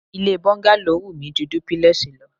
Ilé bọ́ńgálò wù mí ju dúpúlẹ́ẹ̀sì lọ